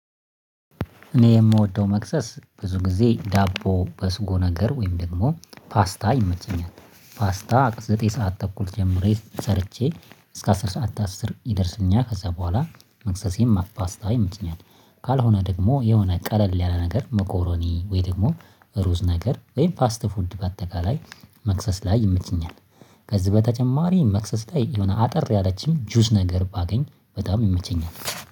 እኔ የምወደው መክሰስ ብዙ ጊዜ ዳቦ በስጎ ነገር ወይም ደግሞ ፓስታ ይመቸኛል። ፓስታ ዘጠኝ ሰዓት ተኩል ጀምሬ ሰርቼ እስከ አስር ሰዓት ከአስር ይደርስልኛል ከዛ በኋላ መክሰሴን ፖስታ ይመቸኛል። ካልሆነ ደግሞ የሆነ ቀለል ያለ ነገር መኮሮኒ ወይ ደግሞ ሩዝ ነገር ወይም ፋስት ፉድ በአጠቃላይ መክሰስ ላይ ይመቸኛል። ከዚህ በተጨማሪ መክሰስ ላይ የሆነ አጠር ያለችን ጁዝ ነገር ባገኝ በጣም ይመቸኛል